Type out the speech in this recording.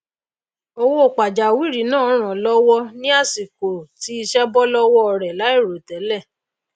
owó pàjáwìrì náà ràn wón lówó ní àsìkò tí isé bó lówó rè láì rò télè